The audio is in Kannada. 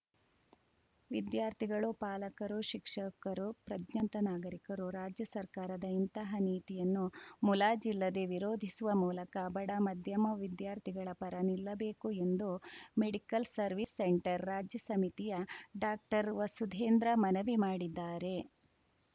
ವಿದ್ಯಾರ್ಥಿಗಳು ಪಾಲಕರು ಶಿಕ್ಷಕರು ಪ್ರಜ್ಞಾವಂತ ನಾಗರೀಕರು ರಾಜ್ಯ ಸರ್ಕಾರದ ಇಂತಹ ನೀತಿಯನ್ನು ಮುಲಾಜಿಲ್ಲದೇ ವಿರೋಧಿಸುವ ಮೂಲಕ ಬಡ ಮಧ್ಯಮ ವಿದ್ಯಾರ್ಥಿಗಳ ಪರ ನಿಲ್ಲಬೇಕು ಎಂದು ಮೆಡಿಕಲ್‌ ಸರ್ವಿಸ್‌ ಸೆಂಟರ್‌ ರಾಜ್ಯ ಸಮಿತಿಯ ಡಾಕ್ಟರ್ವಸುಧೇಂದ್ರ ಮನವಿ ಮಾಡಿದ್ದಾರೆ